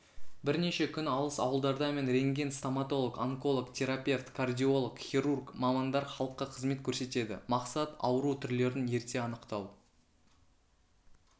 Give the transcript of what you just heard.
бірнеше күн алыс ауылдарда мен рентген стоматолог онколог терапевт кардиолог хирург мамандар халыққа қызмет көрсетеді мақсат ауру түрлерін ерте анықтау